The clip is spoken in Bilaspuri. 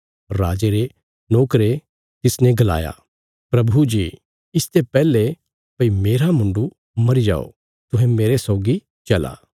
राजे रे नोकरे तिसने गलाया प्रभु जी इसते पैहले भई मेरा मुण्डु मरी जाओ तुहें मेरे सौगी चला